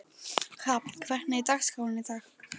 Hrafn, hvernig er dagskráin í dag?